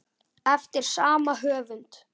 eftir sama höfund.